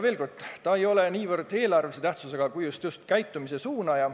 Veel kord: see ei oleks niivõrd eelarvelise tähtsusega muudatus, kuivõrd just käitumise suunaja.